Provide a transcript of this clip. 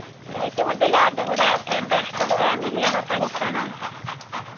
ഏറ്റവും കൂടുതൽ ആർടെ കൂടെ യാത്രയ്ണതാ ഇഷ്ട്ടം family ആണോ friends ആണോ